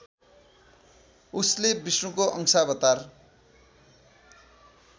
उसले विष्णुको अंशावतार